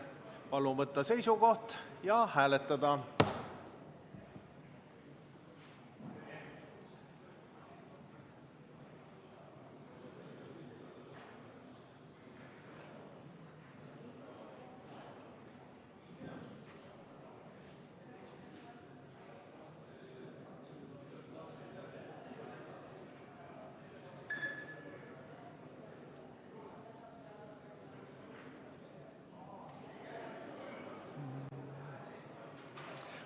Palun võtta seisukoht ja hääletada!